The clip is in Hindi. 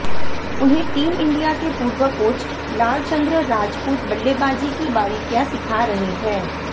उन्हें टीम इंडिया के पूर्व कोच लालचंद्र राजपूत बल्लेबाजी की बारीकियां सिखा रहे हैं